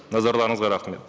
назарларыңызға рахмет